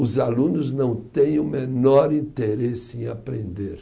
Os alunos não têm o menor interesse em aprender.